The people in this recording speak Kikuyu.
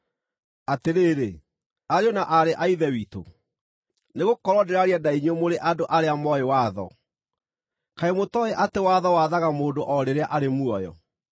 Atĩrĩrĩ, ariũ na aarĩ a Ithe witũ (nĩgũkorwo ndĩraaria na inyuĩ mũrĩ andũ arĩa mooĩ watho), kaĩ mũtooĩ atĩ watho wathaga mũndũ o rĩrĩa arĩ muoyo?